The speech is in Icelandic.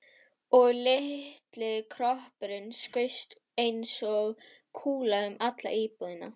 Og litli kroppurinn skaust eins og kúla um alla íbúðina.